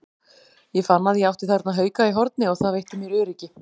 Ég fann að ég átti þarna hauka í horni og það veitti mér öryggi.